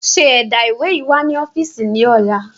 ṣe ẹ̀dá ìwé yíi wá ni ọ́fíìsì ni ọ̀la!